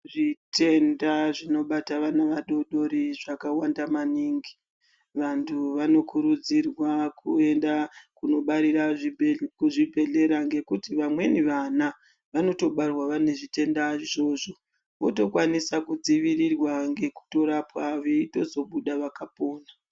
Zvitenda zvinobata vana vadodori zvakawanda maningi, vantu vanokurudzirwa kuyenda kunobarira kuzvibhedhlera ngekuti vamweni vana, vanotobarwa vane zvitenda izvozvo, votokwanisa kudzivirirwa ngekutorapwa veyitozobuda vakapona.